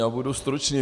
Já budu stručný.